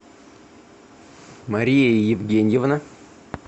мария евгеньевна